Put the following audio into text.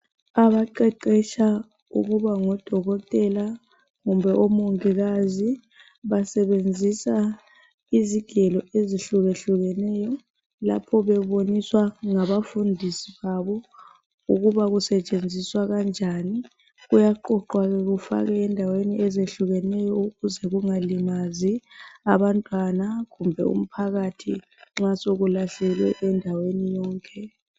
Abaqeqetsha ukuba ngodokoteka kumbe omongiiazi, basebenzisa izigelo ezehlukahlukeneyo. Lapho beboniswa ngabafundisi babo, ukuba kusetshenziswa kanjani. Kuyaqoqwa ke kufakwe endaweni ezehlukahlukeneyo, ukuze kungalimazi abantwana kumbe umphakathi nxa sekulahlelwe endaweni yonke.